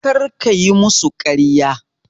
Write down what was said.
Kar kayi musu ƙarya!